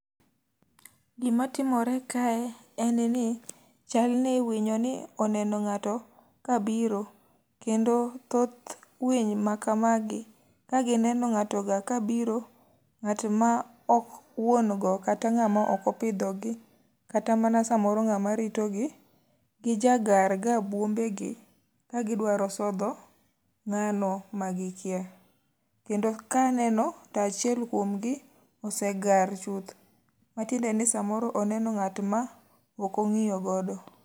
Gima timore kae en ni, chalni winyoni oneno ngáto ka biro, kendo thoth winy ma kamagi ka gineno ngáto ga kabiro, Ngát ma ok wuongo kata ngáma ok opidho gi, kata mana samoro ngáma ritogi, gija garga buombegi, ka gidwaro sodho ngáno ma gi kia. Kendo ka aneno, to achiel kuom gi osegar chuth. Matiende ni samoro oneno ngát ma ok ongíyo godo.